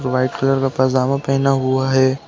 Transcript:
वह white colour का पैजामा पहना हुआ है।